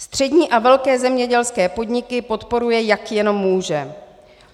Střední a velké zemědělské podniky podporuje, jak jenom může.